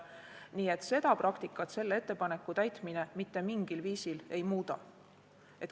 Nii et seda praktikat ettepaneku täitmine mitte mingil viisil ei muuda.